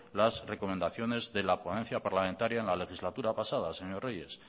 las recomendaciones de la ponencia parlamentaria en la legislatura pasada señor reyes